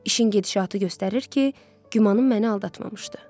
İşin gedişatı göstərir ki, gümanım məni aldatmamışdı.